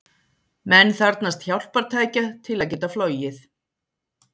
Menn þarfnast hjálpartækja til að geta flogið.